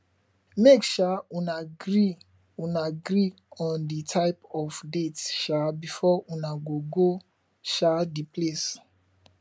make um una agree una agree on di type of date um before una go go um di place